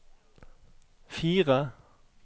fire